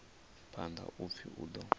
phanḓa u pfi u ḓo